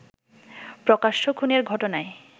প্রকাশ্য খুনের ঘটনায়